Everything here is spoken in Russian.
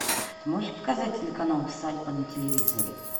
ты можешь показать телеканал усадьба на телевизоре